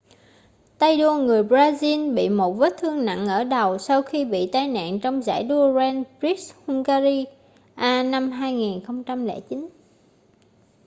tay đua người brazil bị một vết thương nặng ở đầu sau khi bị tai nạn trong giải đua grand prix hungaria năm 2009